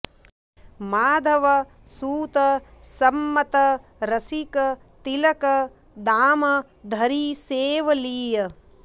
माधव सुत संमत रसिक तिलक दाम धरि सेव लिय